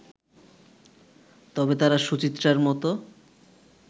তবে তারা সুচিত্রার মতো